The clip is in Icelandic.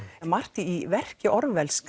margt í verki Orwells